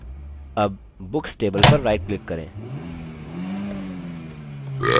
अब books table पर right click करें